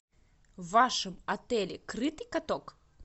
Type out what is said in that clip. в вашем отеле крытый каток